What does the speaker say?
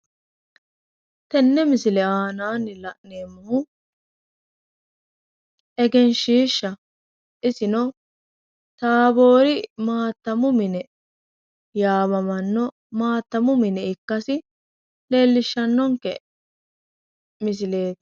Tenne misile aanaanni la'neemmohu egenshiishshaho. Isino taaboori maattamu mine yaamamanno maattamu mine ikkasi leellishshannonke misileeti.